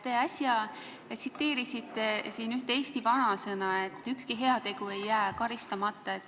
Te äsja tsiteerisite ühte eesti vanasõna, et ükski heategu ei jää karistamata.